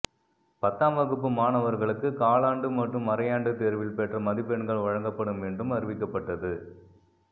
பத்தாம் வகுப்பு மாணவர்களுக்கு காலாண்டு மற்றும் அரையாண்டு தேர்வில் பெற்ற மதிப்பெண்கள் வழங்கப்படும் என்றும் அறிவிக்கப்பட்டது